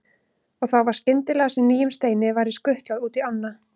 Og þá var skyndilega sem nýjum steini væri skutlað út í ána.